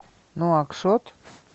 нуакшот